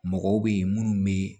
Mɔgɔw bɛ yen minnu bɛ